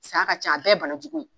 Saya ka ca a bɛɛ banajugu ye